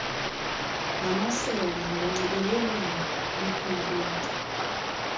namasebe ngonxibelelwano lwekhompyutha